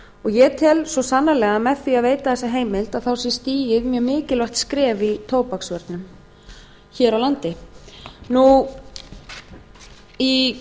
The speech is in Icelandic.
ég tel svo sannarlega að með því að veita þessa heimild sé stigið mjög mikilvægt skref í tóbaksvörnum hér á landi í